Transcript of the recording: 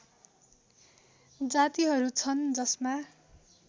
जातिहरू छन् जसमा